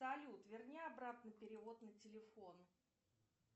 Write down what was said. салют верни обратно перевод на телефон